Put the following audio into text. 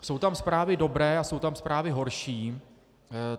Jsou tam zprávy dobré a jsou tam zprávy horší.